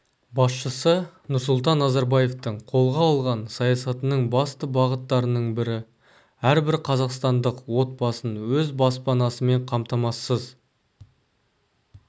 басшысы нұрсұлтан назарбаевтың қолға алған саясатының басты бағыттарының бірі әрбір қазақстандық отбасын өз баспанасымен қамтамасыз